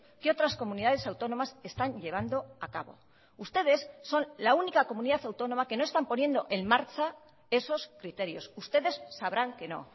que otras comunidades autónomas están llevando a cabo ustedes son la única comunidad autónoma que no están poniendo en marcha esos criterios ustedes sabrán que no